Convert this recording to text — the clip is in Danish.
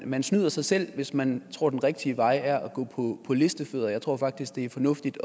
man snyder sig selv hvis man tror at den rigtige vej er at gå på listefødder jeg tror faktisk det er fornuftigt